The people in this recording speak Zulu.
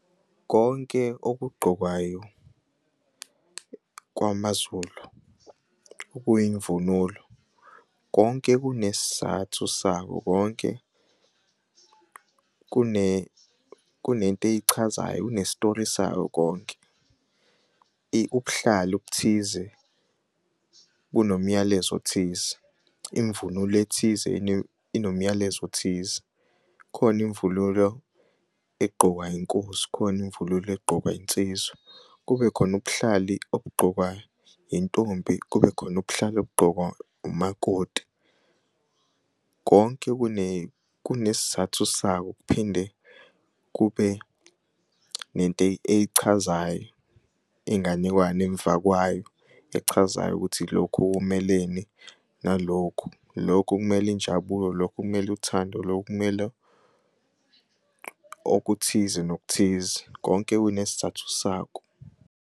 Konke okugqokwayo kwamaZulu okuyimvunulo konke kunesizathu sakho konke kunentey'chazayo kune-story sayo konke. Ubuhlali obuthize bunomyalezo othize, imvunulo ethize inomyalezo othize khona imvunulo egqokwa inkosi khoni'mvunulo egqokwa insizwa kubekhona ubuhlali obugqokwa intombi kubekhona ubuhlali obugqokwa umakoti konke kunesizathu sakho. Kuphinde kube nentey'chazayo inganekwane emva kwayo echazayo ukuthi lokhu kumeleni nalokhu, lokhu kumel'injabulo, lokhu kumel'uthando, lokhu kumele okuthize nokuthize konke kunesizathu sakho.